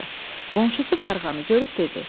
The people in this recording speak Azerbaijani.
Qonşusu qarğanı görüb dedi: